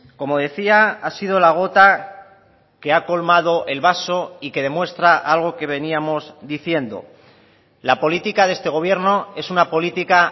como decía ha sido la gota que ha colmado el vaso y que demuestra algo que veníamos diciendo la política de este gobierno es una política